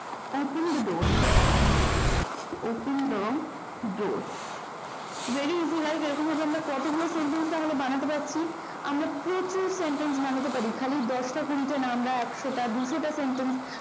open the door open the door very easy right এরকম করে আমরা কতগুলো sentence বানাতে পারছি আমরা প্রচুর sentence বানাতে পারি খালি দশটা কুড়িটা না আমরাএকশো টা দুশো টা sentence ও বানাতে পারি।